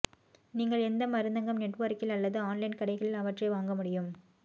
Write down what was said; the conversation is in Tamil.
நீங்கள் எந்த மருந்தகம் நெட்வொர்க்கில் அல்லது ஆன்லைன் கடைகளில் அவற்றை வாங்க முடியும்